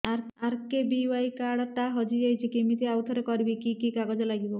RKBY card ଟା ହଜିଯାଇଛି କିମିତି ଆଉଥରେ କରିବି କି କି କାଗଜ ଲାଗିବ